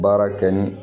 Baara kɛ ni